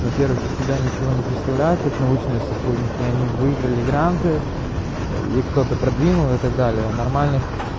во-первых из себя ничего не представляют как научные сотрудники они выиграли гранты их кто-то продвинул и так далее а нормальных